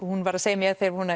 hún var að segja mér þegar hún